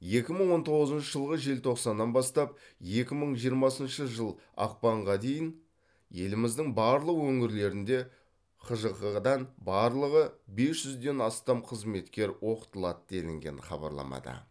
екі мың он тоғызыншы жылғы желтоқсаннан бастап екі мың жиырмасыншы жыл ақпанға дейін еліміздің барлық өңірлеріндегі хжқ дан барлығы бес жүзден астам қызметкер оқытылады делінген хабарламада